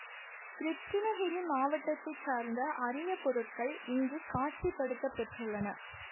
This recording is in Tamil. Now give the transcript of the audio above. கிருட்டிணகிரி மாவட்டத்தை சார்ந்த அரிய பொருட்கள் இங்கு காட்சிப்படுத்தப்பெற்றுள்ளன